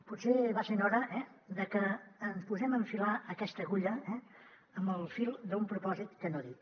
potser va sent hora eh de que ens posem a enfilar aquesta agulla amb el fil d’un propòsit que no dic